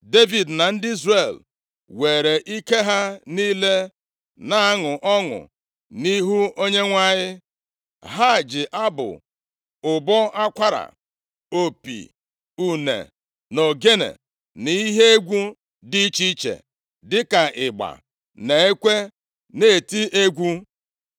Devid na ndị Izrel weere ike ha niile na-aṅụ ọṅụ nʼihu Onyenwe anyị. Ha ji abụ, ụbọ akwara, opi, une na ogene na ihe egwu dị iche iche, dịka ịgba na ekwe na-eti egwu.